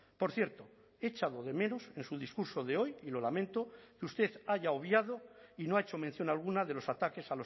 por cierto he echado de menos en su discurso de hoy y lo lamento que usted haya obviado y no ha hecho mención alguna de los ataques